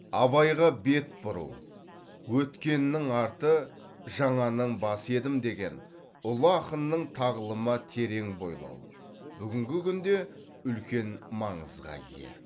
абайға бет бұру өткеннің арты жаңаның басы едім деген ұлы ақынның тағылымына терең бойлау бүгінгі күнде үлкен маңызға ие